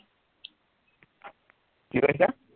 কি কৈছা